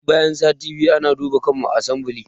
Duk bayan sati biyu ana duba kanmu a asambile